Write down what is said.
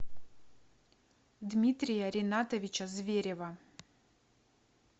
дмитрия ринатовича зверева